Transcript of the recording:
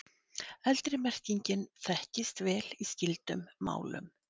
Eldri merkingin þekkist vel í skyldum málum.